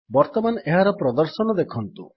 ବର୍ତ୍ତମାନ ଏହାର ପ୍ରଦର୍ଶନ ଦେଖନ୍ତୁ